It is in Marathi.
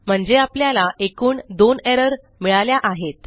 म्हणजे आपल्याला एकूण दोन एरर मिळाल्या आहेत